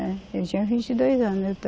É, eu tinha vinte e dois anos. Eu